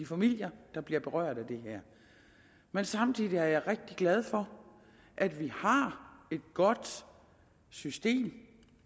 familier der bliver berørt af det her men samtidig er jeg rigtig glad for at vi har et godt system